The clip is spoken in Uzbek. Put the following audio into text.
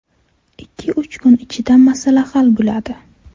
Ikki-uch kun ichida masala hal bo‘ladi.